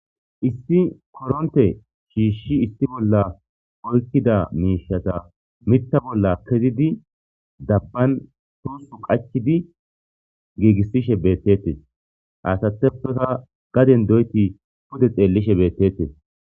issi koronte shiishshi issi bolla oykkida miishata mitta bolla kezidi dabban toosu qachidi giigissishe beettettes aasateppeka gaden doyti pude xeellishe beettettes